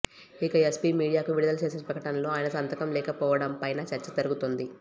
ఇక ఎస్పీ మీడియాకు విడుదల చేసిన ప్రకటనలో ఆయన సంతకం లేకపోవడంపైనా చర్చ జరుగుతోంది